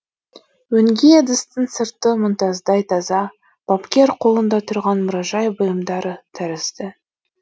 өңге ыдыстың сырты мұнтаздай таза бапкер қолында тұрған мұражай бұйымдары тәрізді